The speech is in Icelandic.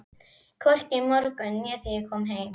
Hvorki í morgun né þegar ég kom heim.